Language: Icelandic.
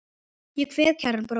Ég kveð kæran bróður.